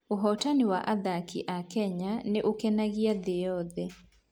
Ũhootani wa athaki a Kenya nĩ ũkenagio thĩ yothe.